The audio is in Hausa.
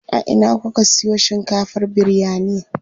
A ina kuka siyo shinkafar biryani?